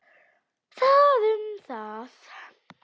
Það um það.